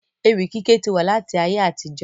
Ewì kíké ti wà láti ayé àtijọ́